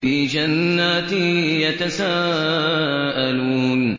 فِي جَنَّاتٍ يَتَسَاءَلُونَ